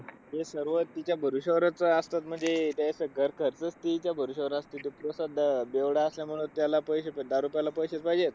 ते सर्व तिच्या भरोशावरच असतात. अं म्हणजे ते असं घरखर्च तिच्या भरवश्यावर असतं, ती पोसत अह बेवडा असल्यामुळे त्याला पैशे, दारू प्यायला पैसे पाहिजे.